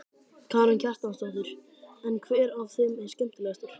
Karen Kjartansdóttir: En hver af þeim er skemmtilegastur?